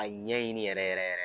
A ɲɛ ɲini yɛrɛ yɛrɛ.